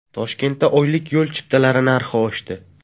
Toshkentda oylik yo‘l chiptalari narxi oshdi.